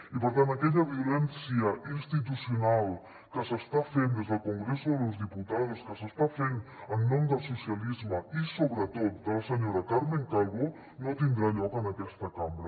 i per tant aquella violència institucional que s’està fent des del congreso de los diputados que s’està fent en nom del socialisme i sobretot de la senyora carmen calvo no tindrà lloc en aquesta cambra